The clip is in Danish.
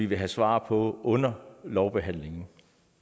vi have svar på under lovbehandlingen